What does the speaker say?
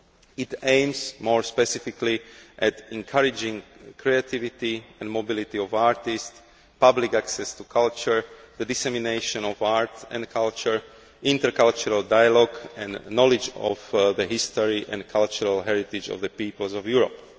It aims, more specifically, at encouraging creativity and mobility of artists, public access to culture, the dissemination of art and culture, intercultural dialogue and knowledge of the history and cultural heritage of the peoples of Europe.